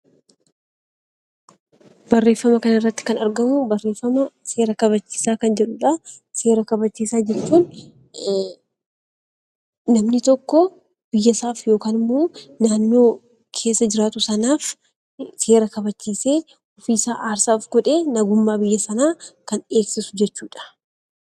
Barreeffama kana irratti kan argamu, barreeffama seera kabachiisaa kan jedhudha. Seera kabachiisaa jechuun namni tokko biyya isaatti yookaan naannoo isaa keessa jiraatu sanaaf seera kabachiisee ofii isaa gatii kanfalee kan eegsisu jechuudha.